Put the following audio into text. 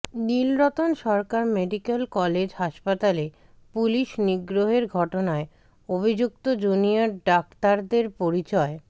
Nilratan Sarkar medical college হাসপাতালে পুলিশ নিগ্রহের ঘটনায় অভিযুক্ত জুনিয়র ডাক্তারদের পরিচয়